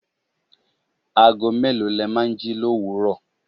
Ago mélòó le máa ń jí l'òwúrò?